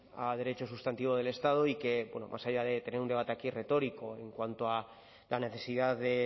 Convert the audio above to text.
a derecho sustantivo del estado y que bueno más allá de tener un debate aquí retórico en cuanto a la necesidad de